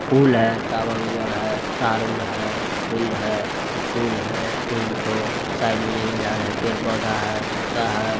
फूल है टोवेर वावर हैं तार वुर हैं फील्ड हैं फूल हैं तीनगो साइड में जंगल झाड़ है पेड़ पौधा है कुत्ता है।